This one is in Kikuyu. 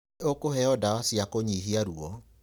Nĩ ũkoheo ndawa cia kũnihia ruwo.